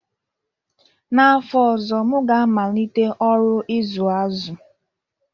N'fọ ọzọ, m ga-amalite ọrụ ịzụ azụ